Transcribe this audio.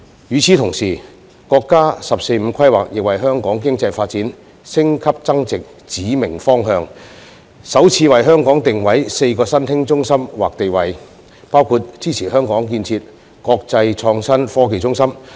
與此同時，國家"十四五"規劃亦為香港經濟發展的升級增值指明方向，首次為香港設立4個新興中心或地位定位，其中包括支持香港建設國際創新科技中心。